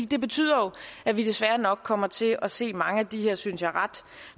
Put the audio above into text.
det betyder jo at vi desværre nok kommer til at se mange af de her synes jeg ret